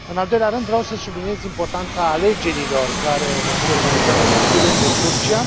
În al doilea rând, vreau să subliniez importanța alegerilor care vor fi organizate în curând în Turcia.